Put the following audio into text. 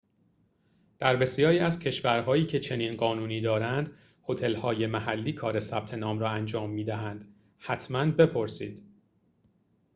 در بسیاری از کشورهایی که چنین قانونی دارند، هتل‌های محلی کار ثبت نام را انجام می دهند حتما بپرسید